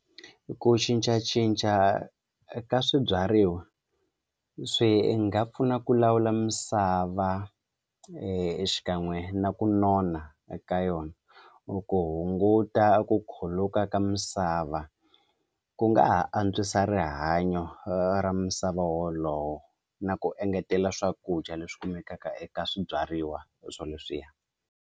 Ku cincacinca ka swibyariwa swi nga pfuna ku lawula misava xikan'we na ku nona eka yona ku hunguta ku khuluka ka misava ku nga ha antswisa rihanyo ra misava wolowo na ku engetela swakudya leswi kumekaka eka swibyariwa swo leswiya.